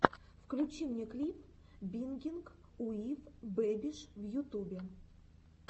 включи мне клип бингинг уив бэбиш в ютубе